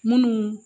Munnu